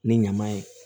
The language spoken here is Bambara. Ni ɲama ye